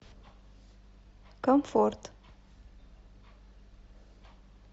комфорт